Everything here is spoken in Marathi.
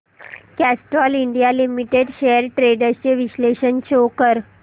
Castrol India limited shares trends चे विश्लेषण शो कर